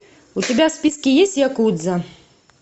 у тебя в списке есть якудза